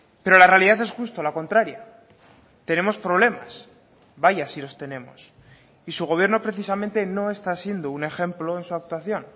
pero la realidad es justo la contraria tenemos problemas vaya si los tenemos y su gobierno precisamente no está siendo un ejemplo en su actuación